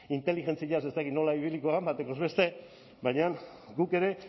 inteligentziaz ez dakit nola ibiliko den batekoz beste baina guk ere